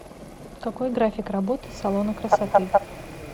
какой график работы салона красоты